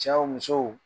Cɛw musow